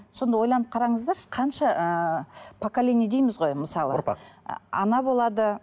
сонда ойланып қараңыздаршы қанша ыыы поколение дейміз ғой мысалы ұрпақ ана болады